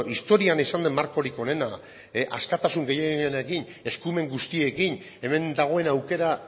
historian izan den markorik onena askatasun gehienarekin eskumen guztiekin hemen dagoen aukera